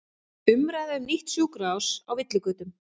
Umræða um nýtt sjúkrahús á villigötum